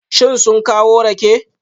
Shin sun kawo rake?